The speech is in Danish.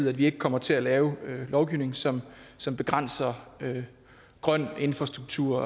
at vi ikke kommer til at lave lovgivning som som begrænser grøn infrastruktur